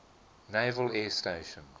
naval air station